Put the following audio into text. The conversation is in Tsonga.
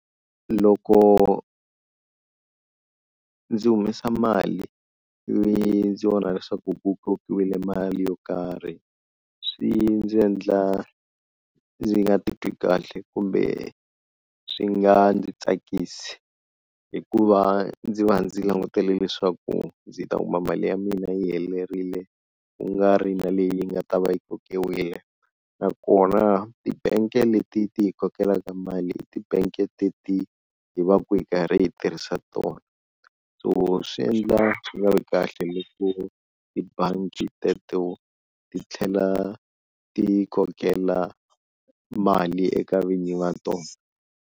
Loko ndzi humesa mali leyi ndzi vonaka leswaku ku mali yo karhi, swi ndzi endla ndzi nga titwi kahle kumbe swi nga ndzi tsakisi hikuva ndzi va ndzi langutele leswaku ndzi ta kuma mali ya mina yi helerile ku nga ri na leyi yi nga ta va yi kokiwile, nakona ti-bank leti ti hi kokelaka mali ti-bank teti hi va ku hi karhi hi tirhisa tona, so swi endla swi nga vi kahle hi ku tibangi teto ti tlhela ti yi kokela mali eka vinyi va tona.